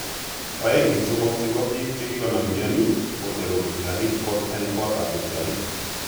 oeng en somok chepo pik chekinam mioni kocheru lupchanik kot en kotap lupchanik.